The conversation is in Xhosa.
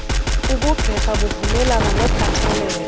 ubugqirha buvumelana nokhathalelo